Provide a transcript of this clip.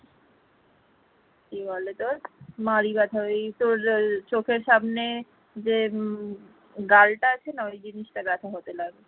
কি বলে তোর মাড়ি ব্যথা ওই তোর চোখের সামনে যে গাল টা আছে না ওই জিনিসটা ব্যাথা হতে লাগলো